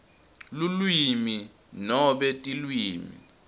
lulwimi nobe tilwimi